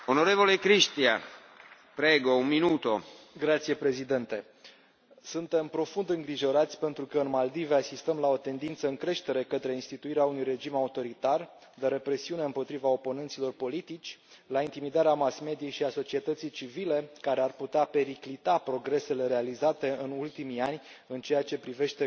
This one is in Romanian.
Suntem profund îngrijorați, pentru că, în Maldive, asistăm la o tendință în creștere către instituirea unui regim autoritar, de represiune împotriva oponenților politici, la intimidarea mass mediei și a societății civile, care ar putea periclita progresele realizate în ultimii ani în ceea ce privește consolidarea drepturilor omului, a democrației și a statului de drept în această țară.